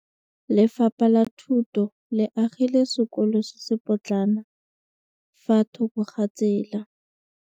Lefapha la Thuto le agile sekôlô se se pôtlana fa thoko ga tsela.